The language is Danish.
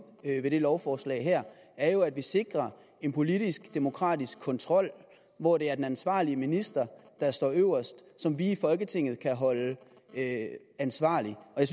med det her lovforslag er jo at vi sikrer en politisk demokratisk kontrol hvor det er den ansvarlige minister der står øverst som vi i folketinget kan holde ansvarlig og